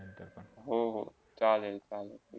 हो - हो, चालेल - चालेल